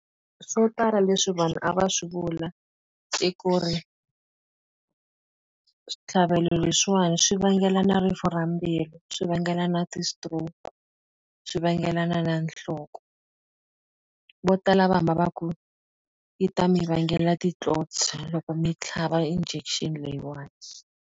Swo tala leswi vanhu a va swi vula i ku ri switlhavelo leswiwani swi vangelana rifu ra mbilu, swi vangelana ti-stroke, swi vangelana na nhloko. Vo tala a va hamba va ku, yi ta mi vangela ti-clots loko mi tlhava injection leyiwani.